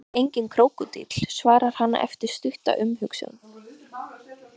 Hún er enginn krókódíll, svarar hann eftir stutta umhugsun.